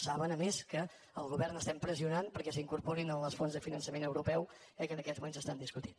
saben a més que al govern estem pressionant perquè s’incorporin en les fonts de finançament europeu que en aquests moments s’estan discutint